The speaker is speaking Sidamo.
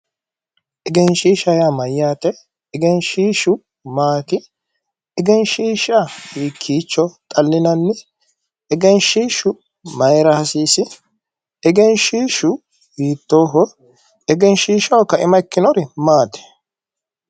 Egenishiishaho yaa Mayyaate? egenishiishu maati? egenishiisha hikiicho xallinanni? egenishiishu mayira hasiisi? egenishiishu hitooho? Egenishiishaho kaima ikkinori maayi?